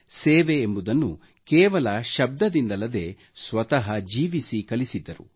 ಸೇವೆ ಎಂಬುದನ್ನು ಕೇವಲ ಶಬ್ದದಿಂದಲ್ಲದೆ ಸ್ವತಃ ಜೀವಿಸಿ ಕಲಿಸಿದ್ದರು